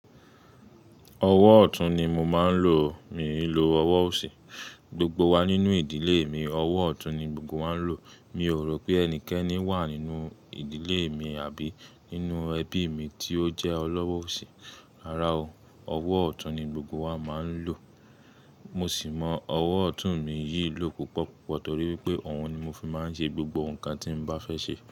Ọwọ́ ọ̀tún ni mo máa ń lò. Mi lò ọwọ́ òsì. Gbogbo wa nínú ìdílé mi, ọwọ́ ọ̀tún ni gbogbo wa ń lò. Mi ò rò pé ẹnikẹ́ni wà nínú ìdílé mi àbí nínú ẹbí mi tí ó jẹ́ ọlọ́wọ́ òsì. Rárá o. Ọwọ́ ọ̀tún ni gbogbo wa máa ń lò. Mo sì mọ ọwọ́ ọ̀tún mi yí lò púpọ̀ púpọ̀ torí wípé òun ni mo fi máa ń ṣe gbogbo nǹkan tí mo bá fẹ́ ṣe.